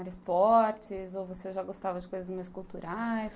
Era esportes ou você já gostava de coisas mais culturais?